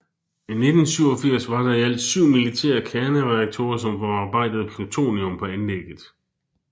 I 1987 var der i alt syv militære kernereaktorer som forarbejdede plutonium på anlægget